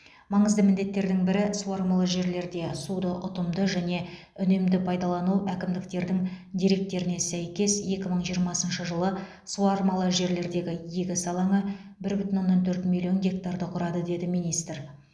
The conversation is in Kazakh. маңызды міндеттердің бірі суармалы жерлерде суды ұтымды және үнемді пайдалану әкімдіктердің деректеріне сәйкес екі мың жиырмасыншы жылы суармалы жерлердегі егіс алаңы бір бүтін оннан төрт миллион гектарды құрады деді министр